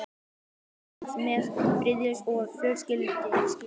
Allt hófst það með friðsemd og fölskvalausri gleði.